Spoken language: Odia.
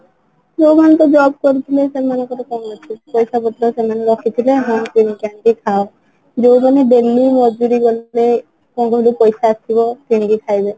ଯୋଉ ମାନେ ତ job କରିଥିଲେ ସେମାନଙ୍କର କଣ ଅଛି ପଇସା ପତ୍ର ସେମାନେ ରଖିଥିବେ ହଁ କିଣିକି ଆଣି ଖାଅ ଯୋଉ ମାନେ daily ମଜୁରୀ କରୁଥିଲେ କୋଉଠୁ ପଇସା ଆସିବ କିଣି କି ଖାଇବେ